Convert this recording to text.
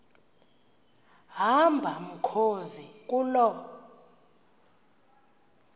hamba mkhozi kuloo